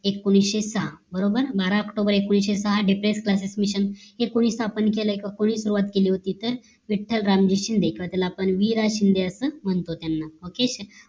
एकोणीशे सहा बरोबर बारा आक्टोबर एकोणीशे सहा depress classes mission हे कोणी स्थापन केलं कोणी सुवात केली ओती तर विठ्ठल रामजी शिंदे किंवा त्यांना आपण वि रा शिंदे असं म्हणतो okay